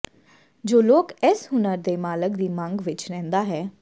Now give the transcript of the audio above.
ਜੋ ਲੋਕ ਇਸ ਹੁਨਰ ਦੇ ਮਾਲਕ ਦੀ ਮੰਗ ਵਿਚ ਰਹਿੰਦਾ ਹੈ